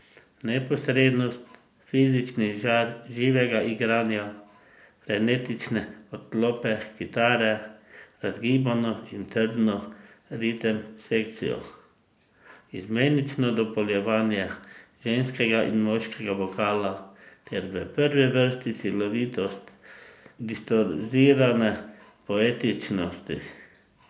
Neposrednost, fizični žar živega igranja, frenetične odklope kitare, razgibano in trdno ritem sekcijo, izmenično dopolnjevanje ženskega in moškega vokala ter v prvi vrsti silovitost distorzirane poetičnosti.